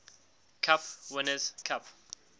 cup winners cup